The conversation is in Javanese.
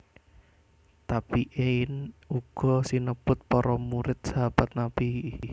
Tabi in uga sinebut para murid Sahabat Nabi